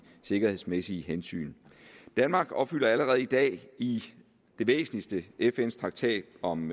sikkerhedsmæssige hensyn danmark opfylder allerede i dag i det væsentligste fns traktat om